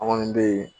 An kɔni be yen